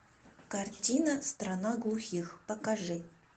картина страна глухих покажи